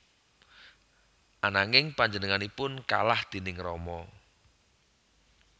Ananging panjenenganipun kalah déning Rama